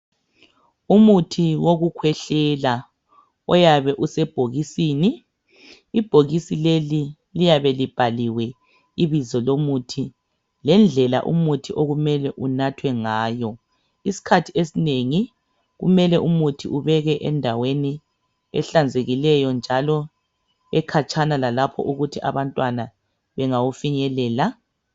Umuthi wekukwehlela uyabe isebhokisini. Ibhokisi leli liyabe ibizo lomuthi ngendlela umuthi uyabe kumele unathwe ngayo. Iskhathi esinengi kumele umuthi ubekwe endaweni ehlanzekileyo njalo ekatshana lalapho ukuthi abantwana bengawufinyelela.